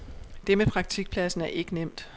Det med praktikpladsen er ikke nemt.